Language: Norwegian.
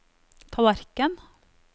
tallerken